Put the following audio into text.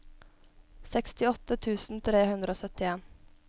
sekstiåtte tusen tre hundre og syttien